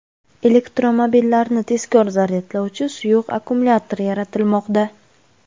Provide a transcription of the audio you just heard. Elektromobillarni tezkor zaryadlovchi suyuq akkumulyatorlar yaratilmoqda.